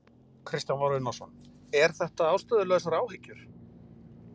Kristján Már Unnarsson: Er þetta ástæðulausar áhyggjur?